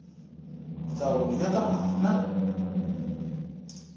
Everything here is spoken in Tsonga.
ndzawulo ya ta mati na